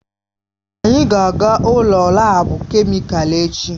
Anyị ga-aga ụlọ laabu kemịkalụ echi.